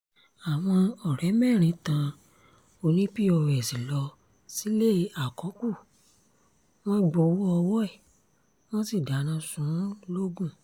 àwọn ọ̀rẹ́ mẹ́rin tan oní-pọ́s lọ sílé àkọ́kù wọn gbowó ọwọ́ ẹ̀ wọ́n sì dáná sun ún logun